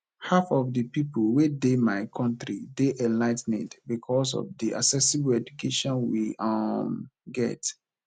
half of the people wey dey my country dey enligh ten ed because of the accessible education we um get